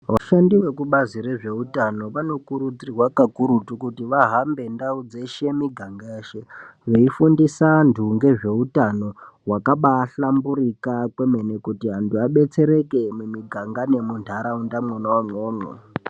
Vashandi vekubazi rezveutano vanokurudzirwa kakurukuti kuti vahambe ndau dzeshe miganga yeshe vaifundisa antu ngezveutano wakabaihlamburika kwemene kuti antu abetsereke mumiganga nemundaraunda mwona imwomwo.